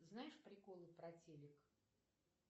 знаешь приколы про телек